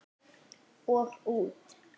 Og út.